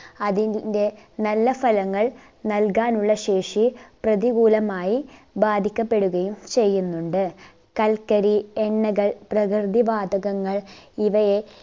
അതിന്റെ നല്ല ഫലങ്ങൾ നൽകാൻ ഉള്ള ശേഷി പ്രതികൂലമായി ബാധിക്കപ്പെടുകയും ചെയ്യുന്നുണ്ട് കൽക്കരി, എണ്ണകൾ പ്രകൃതി വാതകങ്ങൾ ഇവയെ